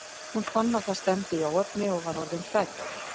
Hún fann að það stefndi í óefni og var orðin hrædd.